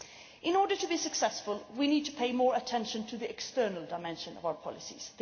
In order to be successful, we need to pay more attention to the external dimension of our policies.